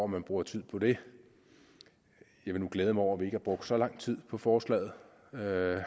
man bruger tid på det jeg vil nu glæde mig over at vi ikke har brugt så lang tid på forslaget